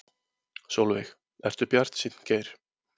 Sólveig: Ertu bjartsýnn Geir?